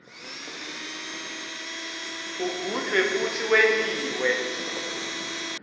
ugujwe futsi wentiwe